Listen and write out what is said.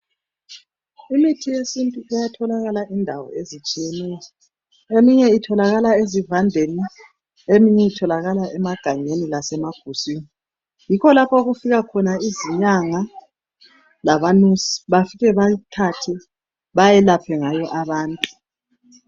Imithi yesintu iyatholakala indawo ezitshiyeneyo eminye itholakala ezivandeni, eminye itholakala emagangeni lase maguswini, yikho lapho okufika khona izinyanga labanusi bafike bayithathe bayelaphe ngayo abantu.